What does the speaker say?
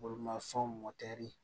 Bolimafɛnw mɔtɛri